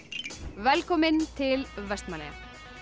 velkomin til Vestmannaeyja